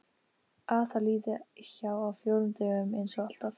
Að það líði hjá á fjórum dögum einsog alltaf.